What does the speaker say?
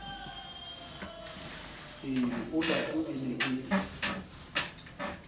e olato e ne e